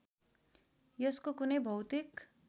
यसको कुनै भौतिक